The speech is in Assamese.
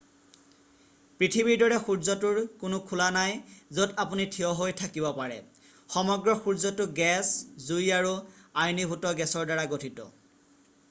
পৃথিৱীৰ দৰে সূৰ্যটোৰ কোনো খোলা নাই য'ত আপুনি থিয় হৈ থাকিব পাৰে সমগ্ৰ সূৰ্যটো গেছ জুই আৰু আয়নীভূত গেছৰ দ্বাৰা গঠিত